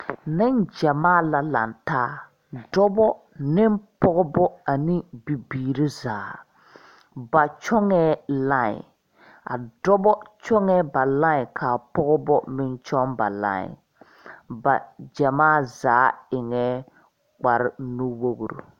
Ninjamaa la lan taa dɔbo ne pɔgba ne bibiiri zaa ba kyungee line dɔbo kyungee ba line ka pɔga meng kyung ba line ba jamaa zaa engaã kpare nuwori.